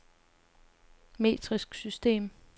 metrisk system